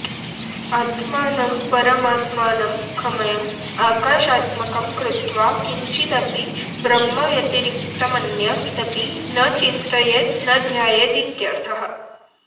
आत्मानं परमात्मानं खमयम् आकाशात्मकं कृत्वा किंचिदपि ब्रह्मव्यतिरिक्तमन्यदपि न चिन्तयेत् न ध्यायेदित्यर्थः